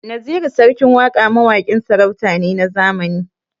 Naziru sarkin waƙa mawaƙin sarauta ne na zamani.